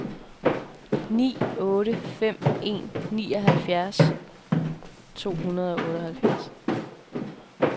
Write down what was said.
ni otte fem en nioghalvfems to hundrede og otteoghalvfjerds